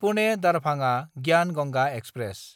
पुने–दारभाङा ग्यान गंगा एक्सप्रेस